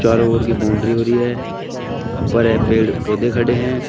चारों ओर की बाउंड्री हो रही है उपर पेड़ ये पौधे खड़े हैं।